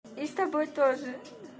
и с тобой тоже